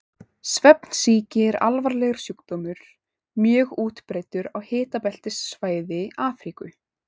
Svefnsýki er alvarlegur sjúkdómur, mjög útbreiddur á hitabeltissvæði Afríku.